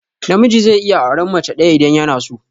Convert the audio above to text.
Namiji zai iya auran mace ɗaya idan yanaso.